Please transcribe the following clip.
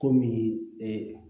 Komi